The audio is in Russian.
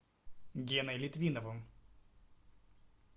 геной литвиновым